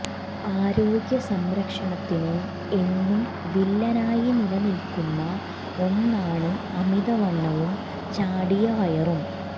ആരോഗ്യ സംരക്ഷണത്തിന് എന്നും വില്ലനായി നിലനിൽക്കുന്ന ഒന്നാണ് അമിതവണ്ണവും ചാടിയ വയറും